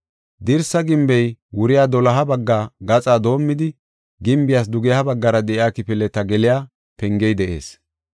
Dirsa gimbey wuriya doloha bagga gaxa doomidi gimbiyas dugeha baggara de7iya kifileta geliya pengey de7ees.